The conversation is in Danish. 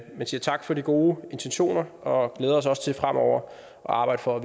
vi siger tak for de gode intentioner og vi glæder os også til fremover at arbejde for at